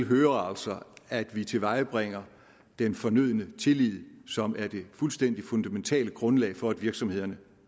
hører altså at vi tilvejebringer den fornødne tillid som er det fuldstændig fundamentale grundlag for at virksomhederne